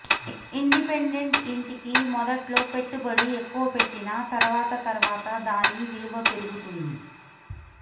independent ఇంటికి మొదట్లో పెట్టుబడి ఎక్కువ పెట్టినా తర్వాత తర్వాత దాని విలువ పెరుగుతంది